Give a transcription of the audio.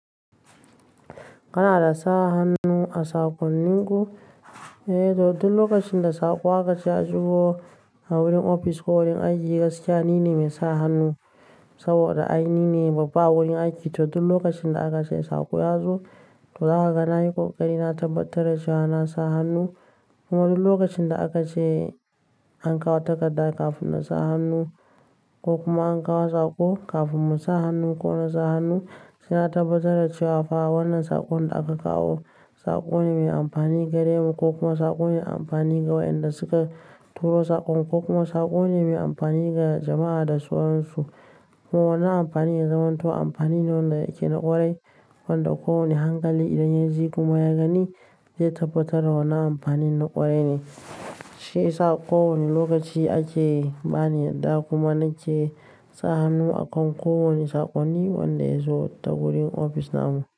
Kana da sa hannu a saƙonninku? Eh toh, duk lokacin da saƙo aka ce ya shigo a wurin ofis ko wurin aiki gaskiya nine mai sa hannu. Saboda ai nine babba wurin aiki to duk lokacin da aka ce saƙo ya zo toh zaka ga na yi kokari na tabbatar da cewa na sa hannu. Kuma duk lokacin da aka ce an kawo takarda kafin na sa hannu ko kuma an kawo saƙo kafin mu sa hannu ko na sa hannu, suna tabbatar da cewa fa wannan saƙon da aka kawo saƙo ne mai amfani gare mu ko kuma saƙo ne mai amfani ga wayanda suka turo saƙon ko kuma saƙo ne mai amfani ga jama'a da sauran su. Kuma wannan amfani ya zamanto amfani ne wanda yake na ƙwarai. Wanda ko wane hankali idan ya ji kuma ya gani zai tabbatar da wannan amfanin na ƙwarai ne. Shi yasa ƙo wani lokaci ake bani yadda kuma nake sa hannu a kan ko wane saƙonni wanda ya zo ta wurin ofis na mu.